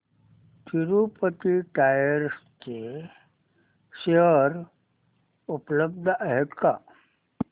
Tirupati tyres चे share उपलब्ध आहेत का